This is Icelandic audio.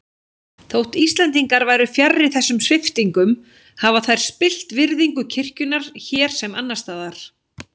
Þótt Íslendingar væru fjarri þessum sviptingum hafa þær spillt virðingu kirkjunnar hér sem annars staðar.